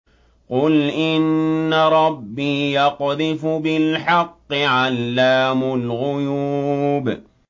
قُلْ إِنَّ رَبِّي يَقْذِفُ بِالْحَقِّ عَلَّامُ الْغُيُوبِ